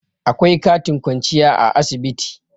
akwai katin kwanciya a asibiti